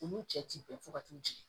Olu cɛ ti bɛn fo ka t'u jigi